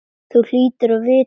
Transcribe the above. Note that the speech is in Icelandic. Þú hlýtur að vita það.